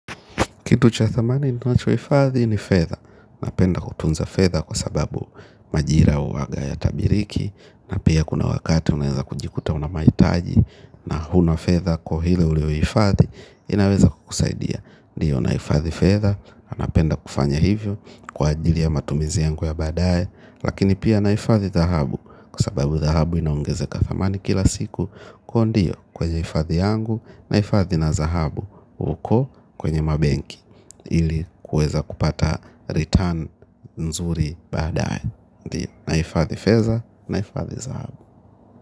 Kitu cha thamani ninachohifadhi ni fedha, napenda kutunza fedha kwa sababu majira huwaga hayatabiriki. Na pia kuna wakati unaeza kujikuta una mahitaji na hauna fedha kwa hiyo hilo ulilohifadhi inaweza kukusaidia. Ndiyo nahifadhi fedha, napenda kufanya hivyo kwa ajili ya matumizi yangu ya badae. Lakini pia nahifadhi dhahabu kwa sababu dhahabu inaongezeka thamani kila siku. Kwa hiyo ndiyo kwenye hifadhi yangu nahifadhi na dhahabu huko kwenye mabenki. Ili kuweza kupata return nzuri badae. Nahifadhi fedha nahifadhi dhahabu.